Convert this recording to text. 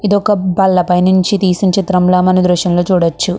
ఇది ఒక బల్ల పై నుంచి తీసిన చిత్రంలా మనం ఈ దృశ్యంలో చూడచ్చు.